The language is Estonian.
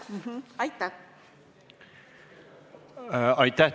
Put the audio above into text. Aitäh!